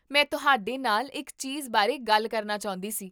ਮੈਂ ਤੁਹਾਡੇ ਨਾਲ ਇੱਕ ਚੀਜ਼ ਬਾਰੇ ਗੱਲ ਕਰਨਾ ਚਾਹੁੰਦੀ ਸੀ